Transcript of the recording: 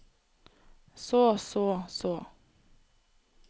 så så så